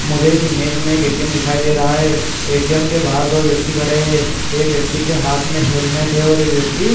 मुझे इस इमेज में एक एटीएम दिखाई दे रहा है। एटीएम के बाहर दो व्यक्ति खड़े हैं। एक व्यक्ति के हाथ में हेलमेट है और एक व्यक्ति --